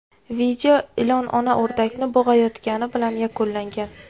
Video ilon ona o‘rdakni bo‘g‘ayotgani bilan yakunlangan.